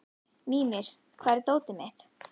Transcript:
Mímir, hvar er dótið mitt?